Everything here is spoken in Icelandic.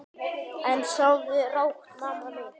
En sofðu rótt, mamma mín.